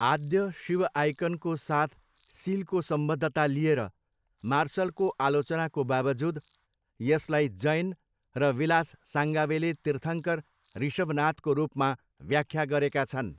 आद्य शिव आइकनको साथ सिलको सम्बद्धता लिएर मार्सलको आलोचनाको बाबजुद, यसलाई जैन र विलास साङ्गावेले तीर्थङ्कर ऋषभनाथको रूपमा व्याख्या गरेका छन्।